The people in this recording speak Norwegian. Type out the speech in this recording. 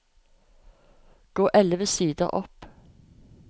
Gå elleve sider opp